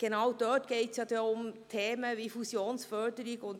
Genau dort wird es um Themen wie Fusionsförderung gehen.